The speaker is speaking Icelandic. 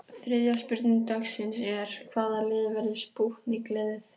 Þriðja spurning dagsins er: Hvaða lið verður spútnik liðið?